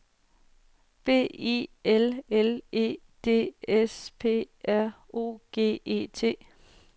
B I L L E D S P R O G E T